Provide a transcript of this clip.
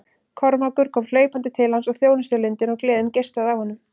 Kormákur kom hlaupandi til hans og þjónustulundin og gleðin geislaði af honum.